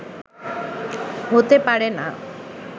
হতে পারে না